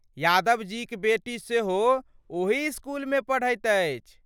यादवजीक बेटी सेहो ओही इसकुलमे पढ़ैत अछि।